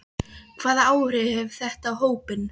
Hvaða áhrif hefur þetta á hópinn?